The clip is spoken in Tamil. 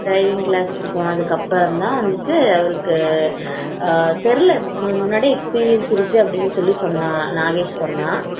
டிரைவிங் கிளாஸ் போனதுக்கப்புறம் தான் வந்து தெரியல முன்னாடியே எக்ஸ்பீரியன்ஸ் இருக்கு அப்படின்னு சொன்னா நாகேஷ் சொன்னா